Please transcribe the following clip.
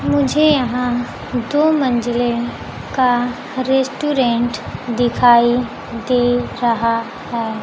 मुझे यहां दो मंजिले का रेस्टुरेंट दिखाई दे रहा है।